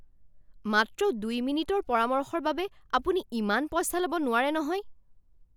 মাত্ৰ দুই মিনিটৰ পৰামৰ্শৰ বাবে আপুনি ইমান পইচা ল'ব নোৱাৰে নহয়!